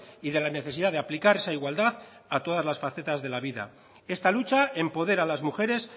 y de la necesidad de aplicar esa igualdad a todas las facetas de la vida esta lucha empodera a las mujeres